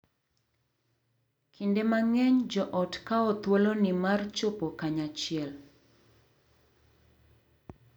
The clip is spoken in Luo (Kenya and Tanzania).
Kinde mang’eny joot kawo thuoloni mar chopo kanyachiel,